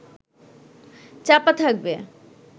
চাপা থাকবে